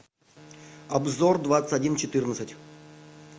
обзор двадцать один четырнадцать